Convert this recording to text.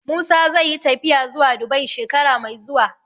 Musa zai yi tafiya zuwa Dubai shekara mai zuwa